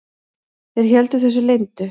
Þeir héldu þessu leyndu.